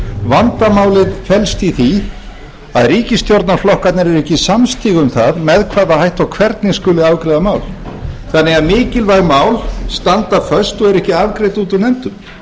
vandamálið felst í því að ríkisstjórnarflokkarnir eru ekki samstiga um það með hvaða hætti og hvernig skuli afgreiða mál þannig að mikilvæg mál standa föst og eru ekki afgreidd út úr nefndum